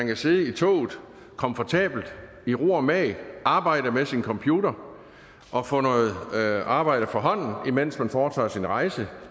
kan sidde i toget komfortabelt i ro og mag og arbejde med sin computer og få noget arbejde fra hånden imens man foretager sin rejse